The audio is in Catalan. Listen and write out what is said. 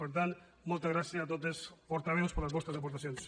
per tant moltes gràcies a tots els portaveus per les vostres aportacions